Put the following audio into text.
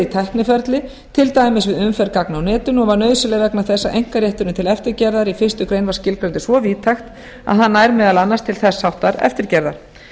tækniferli til dæmis við umferð gagna á netinu og er nauðsynleg vegna þess að einkarétturinn til eftirgerðar í fyrstu grein var skilgreindur svo víðtækt að hann nær meðal annars til þess þáttar eftirgerðar